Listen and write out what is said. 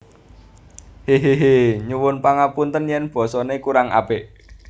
Hehehe Nyuwun pangapunten yen basa ne kurang apik